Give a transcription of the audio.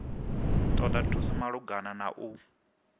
ṱoḓa thuso malugana na u